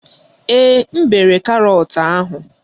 Ee, m bere karọt ahụ